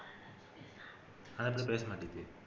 அந்த புள்ள பேசமாட்டிக்குது